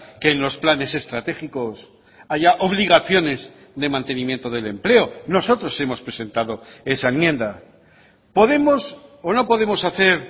que en los planes estratégicos haya obligaciones de mantenimiento del empleo nosotros hemos presentado esa enmienda podemos o no podemos hacer